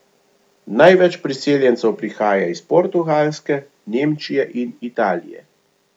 Največ priseljencev prihaja iz Portugalske, Nemčije in Italije.